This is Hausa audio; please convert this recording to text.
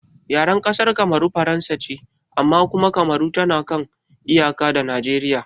Yaren ƙasar Kamaru Faransa ce amma kuma Kamaru tana kan iyaka da Nijeriya